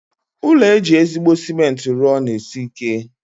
Ụlọ eji ezigbo cement rụọ na-esi ike.